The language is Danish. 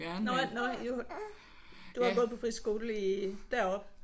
Nåh nåh I har jo du har gået på friskole i deroppe?